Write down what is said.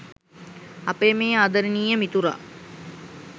අපේ මේ ආදරණීය මිතුරා